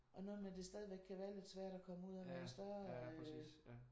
Og noget med at det stadigvæk kan være lidt svært at komme ud og i større øh